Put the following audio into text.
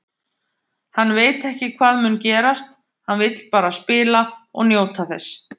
Hann veit ekki hvað mun gerast, hann vill bara spila og njóta þess.